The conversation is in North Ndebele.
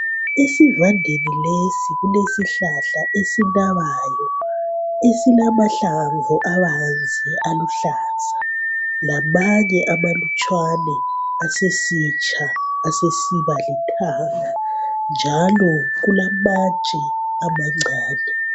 Esivandeni lesi kulesihlala esinabayo esilamahlamvu abanzi aluhlaza lamanye amalutshwane asesitsha asesiba lithanga njalo kulamatshe amancane.